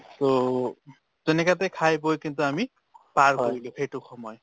to তেনেকাতে খাই বৈ কিন্তু আমি পাৰ কৰিলো সেইটো সময়